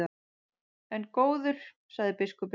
En góður, sagði biskupinn.